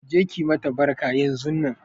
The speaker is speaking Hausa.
Je ki mata barka yanzunnan!